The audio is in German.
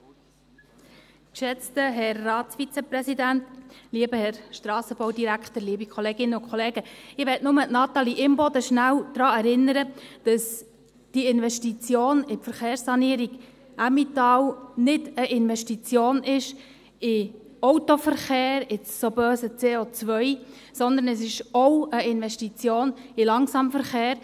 Ich möchte bloss Natalie Imboden kurz daran erinnern, dass die Investition in die Verkehrssanierung Emmental nicht eine Investition in den Autoverkehr, in das so böse CO ist, sondern es ist auch eine Investition in den Langsamverkehr.